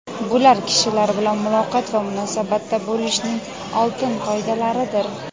Bular kishilar bilan muloqot va munosabatda bo‘lishning oltin qoidalaridir.